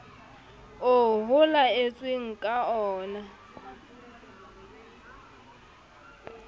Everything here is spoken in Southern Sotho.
oo ho laetsweng ka oona